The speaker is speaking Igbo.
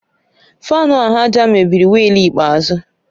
Fáan ahụ àjà m mebiri weel ikpeazụ